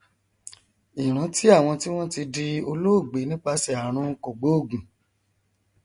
ìrántí àwọn tí wọn ti di olóògbé nípasẹ àrùn kògbóògun